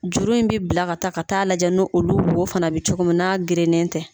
Juru in bɛ bila ka taa ka taa lajɛ nu olu wo fana bɛ cogo min n'a gerelen tɛ.